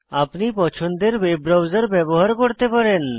আপনি পছন্দের web browser ব্যবহার করতে পারেন